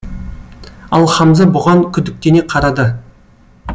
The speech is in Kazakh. ал хамза бұған күдіктене қарады